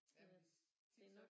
Jamen tit så